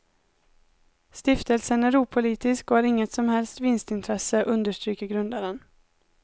Stiftelsen är opolitisk och har inget som helst vinstintresse, understryker grundaren.